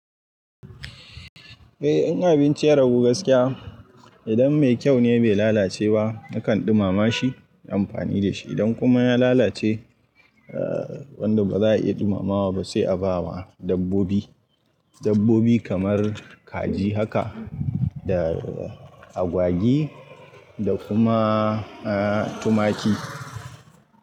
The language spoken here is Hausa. Eh, in abinci ya ragu gaskiya, idan mai kyau ne bai lalace ba nakan ɗumama shi, na yi amfani da shi. Idan kuma ya lalace, wanda ba za a iya ɗumamawa ba sai a ba wa dabbobi. Dabbobi kamar kaji haka da agwagi da kuma tumaki.